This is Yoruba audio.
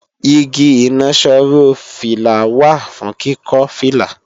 Igi ìnaṣọró fìlà wà fún kíkọ́ fìlà